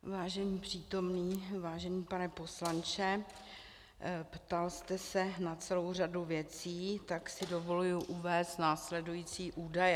Vážení přítomní, vážený pane poslanče, ptal jste se na celou řadu věcí, tak si dovoluji uvést následující údaje.